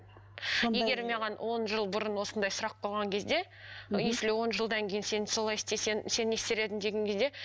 егер маған он жыл бұрын осындай сұрақ қойған кезде если он жылдан кейін сен солай істесең сен не істер едің деген кезде